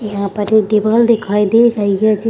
यहाँ पर एक दीवाल दिखाई दे रही है जि --